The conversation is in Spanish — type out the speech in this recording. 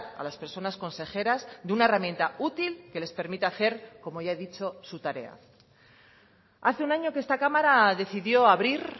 a las personas consejeras de una herramienta útil que les permita hacer como ya he dicho su tarea hace un año que esta cámara decidió abrir